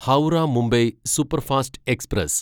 Howrah Mumbai superfast express